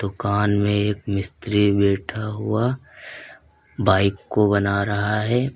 दुकान में एक मिस्त्री बैठा हुआ बाइक को बना रहा है।